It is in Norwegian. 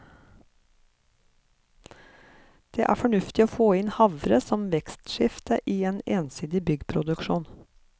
Det er fornuftig å få inn havre som vekstskifte i en ensidig byggproduksjon.